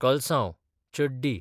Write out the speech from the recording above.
कल्सांव, चड्डी